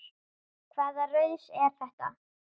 Hvaða raus er þetta?